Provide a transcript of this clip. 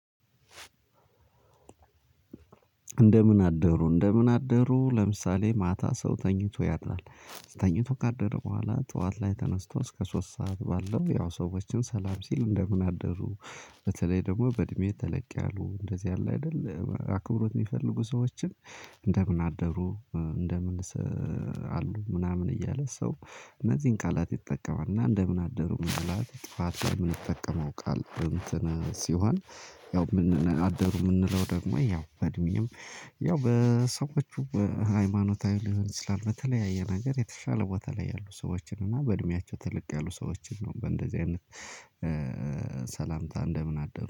እንደምን አደሩ እንደምን አደሩ ለምሳሌ ማታ ሰው ተኝቶ ያድራል ተኝቶ ካደረ በኋላ ጠዋት ላይ ተነስቶ እስከ ሶስት ሰዓት ባለው ያው ሰዎችን ሰላም ሲል እንደምን አደሩ። በተለይ ደግሞ በእድሜ ተለቅ ያሉ እንደዚህ አለ አይደል አክብሮት የሚፈልጉ ሰዎችን። እንደምን አደሩ እንደምን አሉ ምናምን እያለ ሰው እነዚህን ቃላት ይጠቀማል። እና እንደምን አደሩ ምን አደሩ ጠዋት የምንጠቀመው ቃል። ሲሆን እንደምን አደሩ የምንለው ደግሞ ያው በእድሜም ያው በሰዎቹ በሃይማኖታዊ ሊሆን ይችላል። በተለያየ ነገር የተሻለ ቦታ ላይ ያሉ ሰዎችን እና በእድሜያቸው ተለቅ ያሉ ሰዎችን ነው። በእንደዚህ አይነት ሰላምታ እንደምን አደሩ